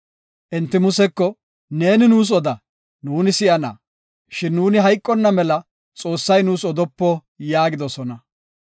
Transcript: Enti Museko, “Neeni nuus oda; nuuni si7ana. Shin nuuni hayqonna mela Xoossay nuus odopo” yaagidosona.